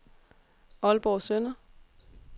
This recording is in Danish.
Aalborg Søndre